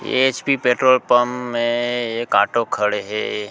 ये HP petrol pump मे एक ऑटो खड़े हे।